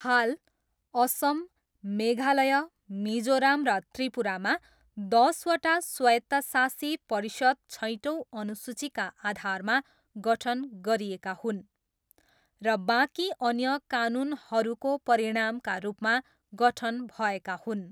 हाल, असम, मेघालय, मिजोरम र त्रिपुरामा दसवटा स्वायत्तशासी परिषद छैटौँ अनुसूचीका आधारमा गठन गरिएका हुन् र बाँकी अन्य कानुनहरूको परिणामका रूपमा गठन भएका हुन्।